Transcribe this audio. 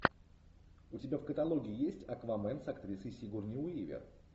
у тебя в каталоге есть аквамен с актрисой сигурни уивер